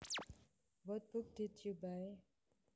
What book did you buy